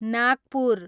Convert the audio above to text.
Nagpur